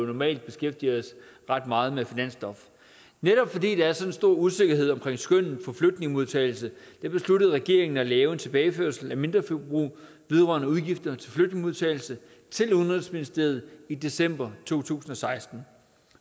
normalt beskæftiger os ret meget med finansstof netop fordi der er så stor en usikkerhed omkring skønnet for flygtningemodtagelse besluttede regeringen at lave en tilbageførsel af mindreforbrug vedrørende udgifter til flygtningemodtagelse til udenrigsministeriet i december to tusind og seksten